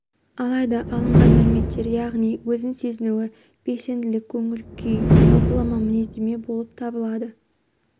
алайда алынған мәліметтер яғни өзін сезінуі белсенділік көңіл-күй жалпылама мінездеме болып табылады